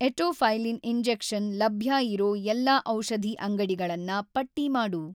Etofylline injection ಲಭ್ಯ ಇರೋ ಎಲ್ಲಾ ಔಷಧಿ ಅಂಗಡಿಗಳನ್ನ ಪಟ್ಟಿ ಮಾಡು.